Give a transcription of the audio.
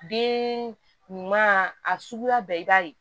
Den ɲuman a suguya bɛɛ i b'a ye